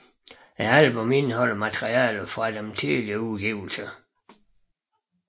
Albummet indeholder materiale fra deres tidligere udgivelser